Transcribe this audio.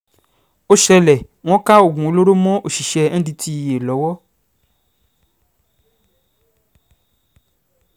ó ṣẹlẹ̀ wọ́n ká oògùn olóró mọ́ òṣìṣẹ́ ndtea lọ́wọ́